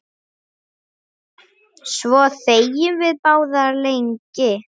Svo þegjum við báðar lengi.